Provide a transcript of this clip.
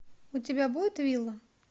у тебя будет вилла